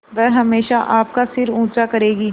वह हमेशा आपका सिर ऊँचा करेगी